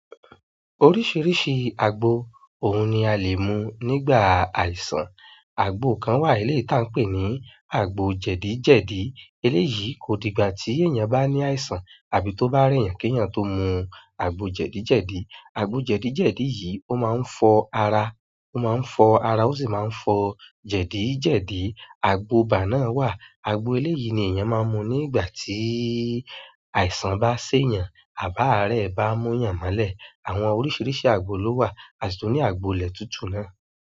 Oríṣiríṣi agbo, ohun ni a le mú nígbà àìsàn. Àgbo kan wà ní eleyii tí a ń pè ní àgbo jẹ̀dí jẹ̀dí. Eléyìí kò di gbà tí èèyàn bá ní àìsàn àbí tó bá reyan kí èèyàn tó mu àgbo jẹ̀dí jẹ̀dí. Agbo jedijedi yìí, o ma n fo ara, o si ma n fo jedijedi. Àgbo iba náà wà. Àgbo eléyìí ni èèyàn máa ń mu nígbà tí àìsàn bá ṣé èèyàn àb aare bá múyàn molẹ̀. Àwọn oríṣiríṣi àgbo ló wà, a sì tó ní àgbo ilẹ̀ tútù náà.